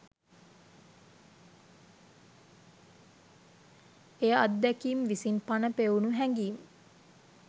එය අත්දැකීම් විසින් පණ පෙවුණු හැඟීම්